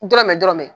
Dɔrɔmɛ dɔrɔmɛ